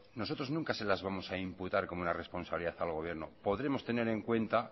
nosotros nunca se las vamos a imputar como una responsabilidad al gobierno podremos tener en cuenta